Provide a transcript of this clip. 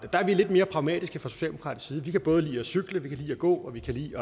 der er vi lidt mere pragmatiske fra socialdemokratisk side vi kan både lide at cykle vi kan lide at gå og vi kan lide